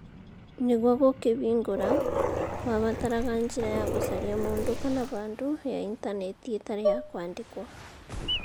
Nĩguo gũkĩhingũra ,kwabataraga njĩra ya gũcaria mũndũ kana handũ, ya Intaneti ĩtarĩ ya kwandĩkwo.